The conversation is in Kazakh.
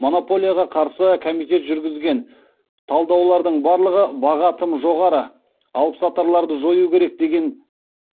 монополияға қарсы комитет жүргізген талдаулардың барлығы баға тым жоғары алыпсатарларды жою керек деген